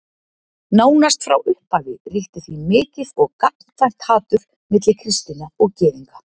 Nánast frá upphafi ríkti því mikið og gagnkvæmt hatur milli kristinna og Gyðinga.